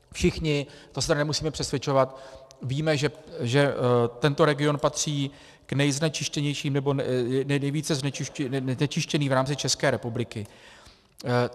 Všichni, to se tedy nemusíme přesvědčovat, víme, že tento region patří k nejznečištěnějším nebo nejvíce znečištěným v rámci České republiky.